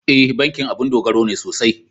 E, bankin abun dogaro ne sosai.